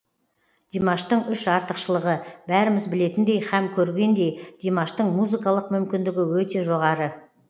димаштың үш артықшылығы бәріміз білетіндей һәм көргендей димаштың музыкалық мүмкіндігі өте жоғары